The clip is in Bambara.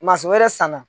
wɛrɛ sanna